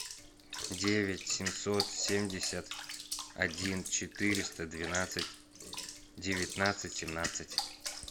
девять семьсот семьдесят один четыреста двенадцать девятнадцать семнадцать